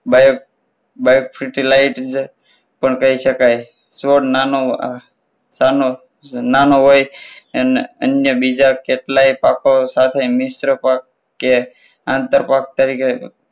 bio~bio fertilizer પણ કહી શકાય છોડ નાનો નાનો નાનો હોય અને અન્ય બીજા કેટલાય પાકો સાથે મિશ્ર ફળ કે આંતર ફળ તરીકે